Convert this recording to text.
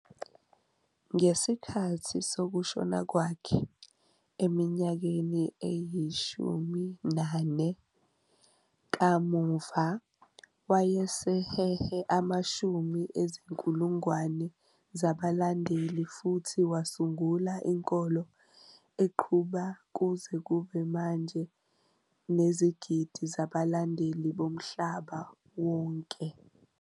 Ngesikhathi sokushona kwakhe, eminyakeni eyi-14 kamuva, wayesehehe amashumi ezinkulungwane zabalandeli futhi wasungula inkolo eqhubeka kuze kube manje nezigidi zabalandeli bomhlaba wonke.